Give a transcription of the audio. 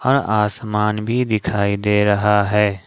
हर आसमान भी दिखाई दे रहा है।